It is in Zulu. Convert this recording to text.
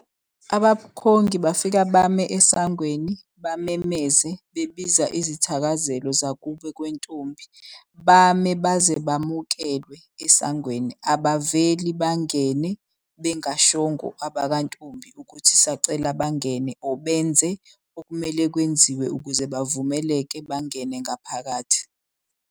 Abakhongi bafika bame esangweni, bamemeze bebiza izithakazelo zakubo kwentombi. Bame baze bamukelwe esangweni, abaveli bangene bengashongo abakantombi ukuthi sacela bangene. Or benze okumele kwenziwe ukuze bavumeleke bangene ngaphakathi.